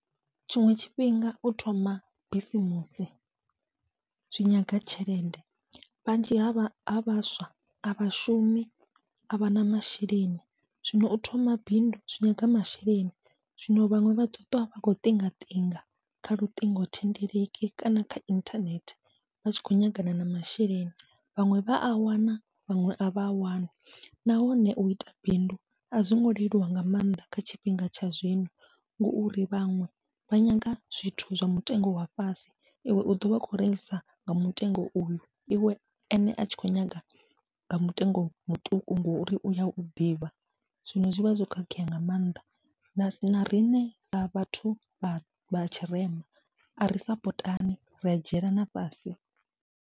Tshiṅwe tshifhinga u thoma bisimusi zwi nyaga tshelede, vhanzhi havha ha vhaswa avha shumi avha na masheleni zwino u thoma bindu zwi nyaga masheleni, zwino vhaṅwe vha ḓoṱwa vha khou ṱingaṱinga kha luṱingothendeleki kana kha inthanethe vha tshi khou nyangana na masheleni, vhaṅwe vha a wana vhaṅwe avha a wani. Nahone uita bindu azwongo leluwa nga maanḓa kha tshifhinga tsha zwino, ngauri vhaṅwe vha nyaga zwithu zwa mutengo wa fhasi iwe u ḓovha u khou rengisa nga mutengo uyu iwe ene atshi khou nyaga nga mutengo muṱuku ngori uya u ḓivha, zwino zwivha zwo khakhea nga maanḓa na na riṋe sa vhathu vha vha tshirema ari sapotani ria dzhielana fhasi.